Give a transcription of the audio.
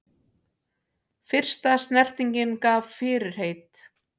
Fyrsta snertingin gaf fyrirheit